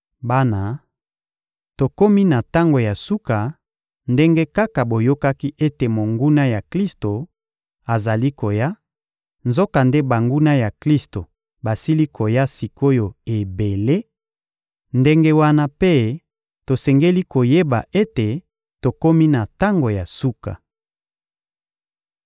Bana, tokomi na tango ya suka; ndenge kaka boyokaki ete monguna ya Klisto azali koya, nzokande banguna ya Klisto basili koya sik’oyo ebele, ndenge wana mpe tosengeli koyeba ete tokomi na tango ya suka.